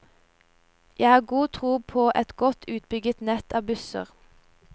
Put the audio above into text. Jeg har god tro på et godt utbygget nett av busser.